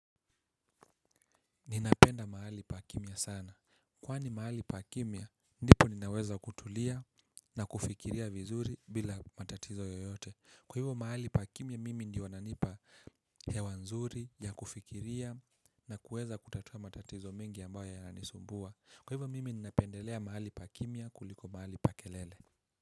Ninapenda mahali pa kimia sana. Kwani mahali pa kimia, ndipo ninaweza kutulia na kufikiria vizuri bila matatizo yoyote. Kwa hivo mahali pa kimia mimi ndiyo unanipa hewa nzuri, ya kufikiria na kuweza kutatua matatizo mengi ambayo yana nisumbua. Kwa hivo mimi ninapendelea mahali pa kimia kuliko mahali pa kelele.